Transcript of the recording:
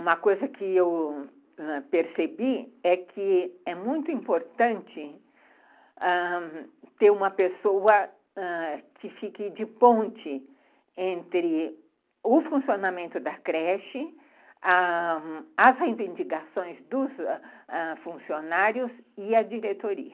Uma coisa que eu percebi é que é muito importante, ãh, ter uma pessoa que fique de ponte entre o funcionamento da creche, ãh... as reivindicações dos funcionários e a diretoria.